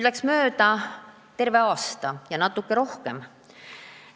Läks mööda terve aasta ja veel natuke rohkem.